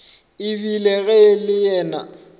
ebile ge e le yena